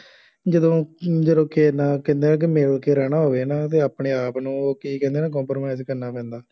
ਜਦੋਂ ਅਹ ਜਦੋ ਕਿਸੇ ਨਾਲ ਕਹਿੰਦੇ ਆ ਕਿ ਮਿਲ ਕੇ ਰਹਿਣਾ ਹੋਵੇ ਹੈ ਨਾ ਤਾਂ ਆਪਣੇ ਆਪ ਨੂੰ ਉਹ ਕੀ ਕਹਿੰਦੇ ਨਾ compromise ਕਰਨਾ ਪੈਂਦਾ